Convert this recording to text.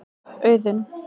Auðunn